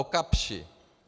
O Kapschi.